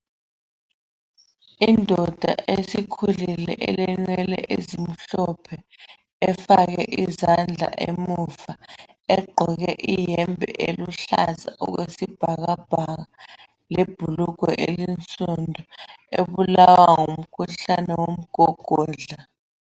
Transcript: Indoda esikhulile elenwele ezimhlophe, efake izandla emuva, egqoke iyembe eluhlaza okwesibhakabhaka lebhulugwe elinsundu, ebulawa ngumkhuhlane womgogodla.